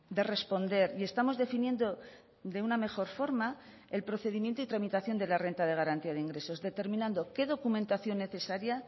de responder y estamos definiendo de una mejor forma el procedimiento y tramitación de la renta de garantía de ingresos determinando qué documentación necesaria